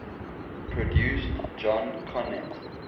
produced john conteh